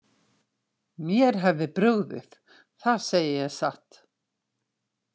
Mér hefði brugðið, það segi ég satt.